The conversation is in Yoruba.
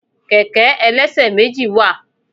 Kẹ̀kẹ́ ẹlẹ́ṣẹ̀méjì wa